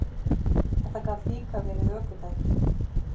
Þetta gat líka verið ökutæki.